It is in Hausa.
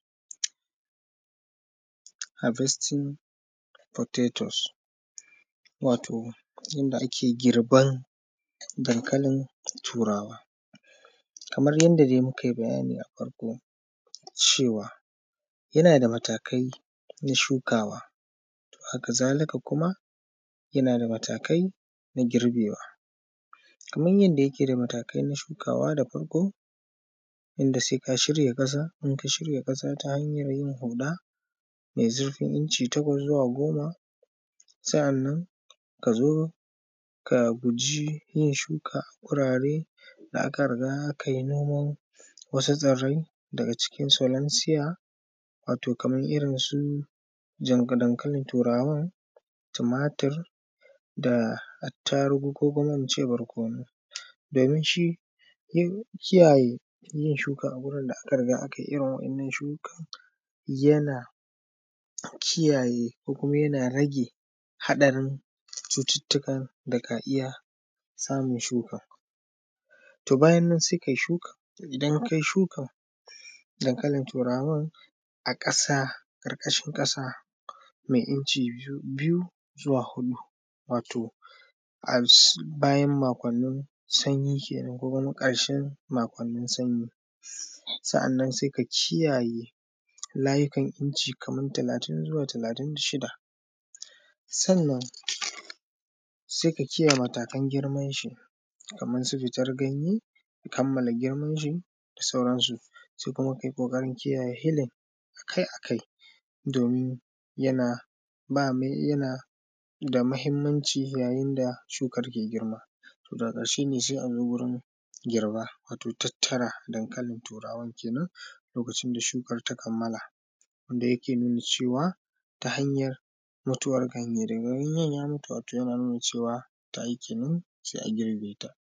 Haɾvesting puteto waton yanda ake gɪɾban dankalɪn tuɾawa kamar yanda da mukaɪ bayani a baya cewa da matakaɪ na shukawa haka zalika kuma munaː da matakaɪ na gɪɾbewa kaːmar yanda yake da matakaɪ na shukawa. da faɾko yanda saːi ka shiɾya kasa, ka shiɾya kasa ta hanyan yin huɗa me zuɾfin inci taɾa zuwa goma. Saːnnan ka zo ka guji yin shuka wuɾaɾe da aka ɾiga akaɪ noman wasu tsɪɾaɪ a cikin. daɡa cikin tsalansiya waːto kaːmar iɾinsu yanɡa, dankalɪn tuɾawa, tumatur da attaɾuɡu koː kuma in ce baɾkoːnu, domɪn shi don kiyaye yin shuka a wuɾin da aka ɾiga aka yi iɾin wayannan shukan. Yana kiyaye ko yana ɾaɡe haɗaɾin cututtuka da kaː iya kama shukan. Toː bayan nan saːi kaɪ shukan. Idan kaɪ shukan dankalɪn tuɾawan a kaɾkashɪn kasa me inci biyu zuwa huɗu, waːto bayan makwanni uku sanyi keda wuɾin kaɾshe a makwannin sanyi. sannan saːi ka layukan inci kamar talatin zuwa talatin da shida. Saːnnan saːi ka k’iyaye matakan gɪɾbin shi kamar su fitaɾ ganye, kamalla gɪɾeːmanshi da sauɾansu. Kuma kaɪ kokaɾin kiyaye hilin akaɪ-akaɪ domɪn yana da mahɪmmanci yayɪn da sukan kan gɪɾma. Toː daɡa ƙaɾshe ne saːi a noma, waːto tattaɾa dankalɪn tuɾawan kenan lokacɪn da shukan ta kamala, wanda yake nuna cewa ta hanyan mutuwan ganye. daɡa ganyen ya mutu tana nuna cewa ta yi ne, saːi a gɪɾbe ta.